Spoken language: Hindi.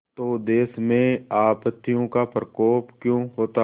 तो देश में आपत्तियों का प्रकोप क्यों होता